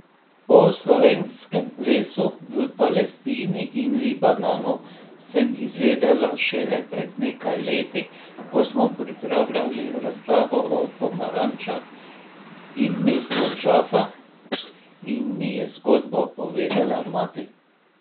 O slovenskem lesu v Palestini in Libanonu sem izvedela šele pred nekaj leti, ko smo pripravljali razstavo o pomarančah in mestu Džafa in mi je zgodbo povedala mati.